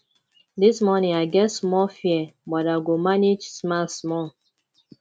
dis morning i get small fear but i go manage smile small